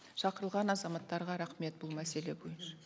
шақырылған азаматтарға рахмет бұл мәселе бойынша